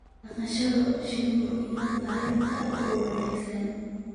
dhaqashada shinida iyo taranta oo wanaagsan